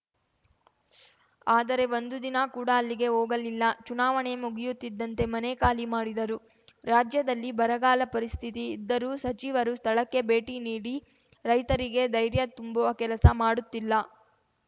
ಆದರೆ ಒಂದು ದಿನ ಕೂಡ ಅಲ್ಲಿಗೆ ಹೋಗಲಿಲ್ಲ ಚುನಾವಣೆ ಮುಗಿಯುತ್ತಿದ್ದಂತೆ ಮನೆ ಖಾಲಿ ಮಾಡಿದರು ರಾಜ್ಯದಲ್ಲಿ ಬರಗಾಲ ಪರಿಸ್ಥಿತಿ ಇದ್ದರೂ ಸಚಿವರು ಸ್ಥಳಕ್ಕೆ ಭೇಟಿ ನೀಡಿ ರೈತರಿಗೆ ಧೈರ್ಯ ತುಂಬುವ ಕೆಲಸ ಮಾಡುತ್ತಿಲ್ಲ